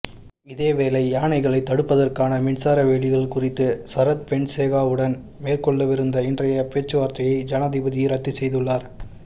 இதேவேளை யானைகளை தடுப்பதற்கான மின்சார வேலிகள் குறித்து சரத்பொன்சேகாவுடன் மேற்கொள்ளவிருந்த இன்றைய பேச்சுவார்த்தையை ஜனாதிபதி இரத்துச்செய்துள்ளார்